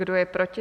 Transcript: Kdo je proti?